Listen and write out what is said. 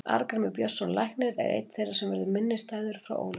Arngrímur Björnsson læknir er einn þeirra sem verður minnisstæður frá Ólafsvík.